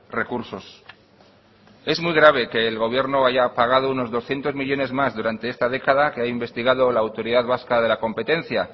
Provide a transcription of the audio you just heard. recursos es muy grave que el gobierno haya pagado unos doscientos millónes más durante esta década que ha investigado la autoridad vasca de la competencia